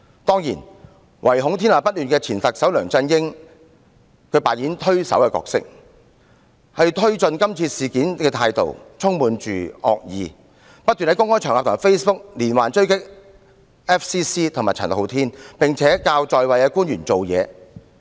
當然，唯恐天下不亂的前特首梁振英扮演着推手的角色，他推進今次事件的態度充滿惡意，不斷在公開場合和 Facebook 連環追擊外國記者會及陳浩天，並且教在位官員如何行事。